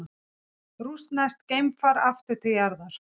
Rússneskt geimfar aftur til jarðar